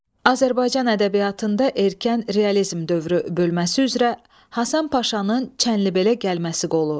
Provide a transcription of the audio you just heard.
Azərbaycan ədəbiyyatında erkən realizm dövrü bölməsi üzrə Həsən Paşanın Çənlibelə gəlməsi qolu.